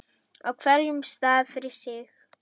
á hverjum stað fyrir sig.